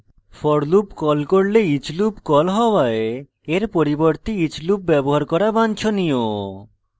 for loop call করলে each loop call হওয়ায় এর পরিবর্তে each loop ব্যবহার করা বাঞ্ছনীয়